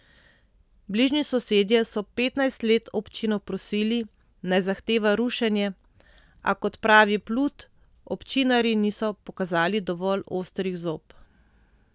Bližnji sosedje so petnajst let občino prosili, naj zahteva rušenje, a kot pravi Plut, občinarji niso pokazali dovolj ostrih zob.